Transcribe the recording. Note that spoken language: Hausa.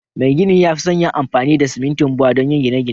Mai gini ya fi son yin amfani da simintin Bua donyi gine gine